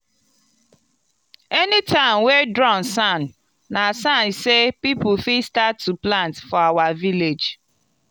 anytime wey drum sound na sign sey people fit start to plant for our village.